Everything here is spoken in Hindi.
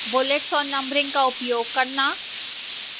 bullets और numbering का उपयोग करना